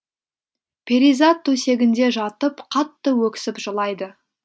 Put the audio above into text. перизат төсегінде жатып қатты өксіп жылайды